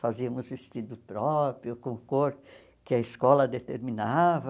Fazíamos vestido próprio, com cor que a escola determinava.